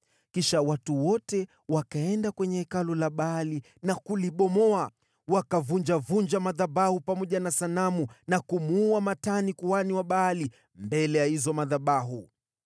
Kisha watu wote wakaenda kwenye hekalu la Baali na kulibomoa. Wakavunjavunja madhabahu pamoja na sanamu na kumuua Matani kuhani wa Baali mbele ya hayo madhabahu.